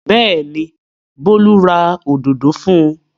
Bẹ́ẹ̀ ni, Bólú ra òdòdó fún un.